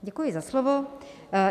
Děkuji za slovo.